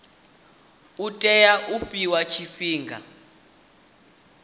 u tea u fhiwa tshifhinga